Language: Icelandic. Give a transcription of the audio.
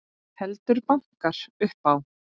Heldur bankar upp á.